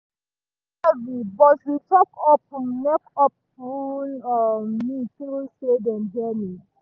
guilt heavy but we talk open make open make um me feel say dem hear me